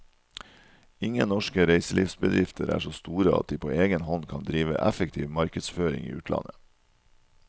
Ingen norske reiselivsbedrifter er så store at de på egen hånd kan drive effektiv markedsføring i utlandet.